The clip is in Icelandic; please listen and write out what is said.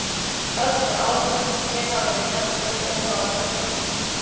Öll þau áhöld sem hér hafa verið nefnd eru ónákvæm.